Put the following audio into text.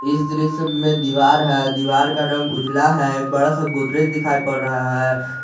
इस दृश्य में दीवार है दीवार का रंग उजाला है बड़ा सा गोदरेज दिखाई पड़ रहा है।